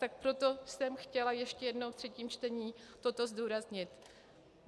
Tak proto jsem chtěla ještě jednou ve třetím čtení toto zdůraznit.